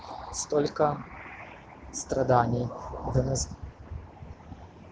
столько страданий из за нас